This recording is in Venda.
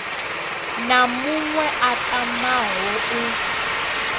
na muṅwe a tamaho u